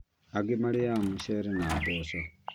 Angĩ marĩaga mũcere na mboco